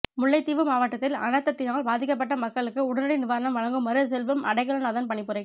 முல்லைத்தீவு மாவட்டத்தில் அனர்த்தத்தினால் பாதிக்கப்பட்ட மக்களுக்கு உடனடி நிவாரணம் வழங்குமாறு செல்வம் அடைக்கலநாதன் பணிப்புரை